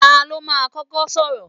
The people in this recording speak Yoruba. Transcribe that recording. Ta ló máa kọ́kọ́ sọ̀rọ̀?